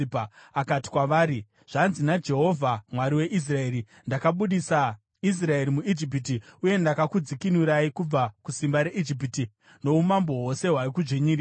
akati kwavari, “Zvanzi naJehovha Mwari weIsraeri: ‘Ndakabudisa Israeri muIjipiti, uye ndakakudzikinurai kubva kusimba reIjipiti noumambo hwose hwaikudzvinyirirai.’